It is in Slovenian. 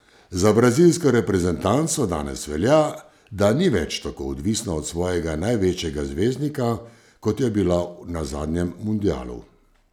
Za brazilsko reprezentanco danes velja, da ni več tako odvisna od svojega največjega zvezdnika, kot je bila na zadnjem mundialu.